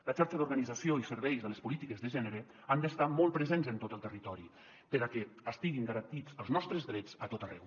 la xarxa d’organització i serveis de les polítiques de gènere han d’estar molt presents en tot el territori perquè estiguin garantits els nostres drets a tot arreu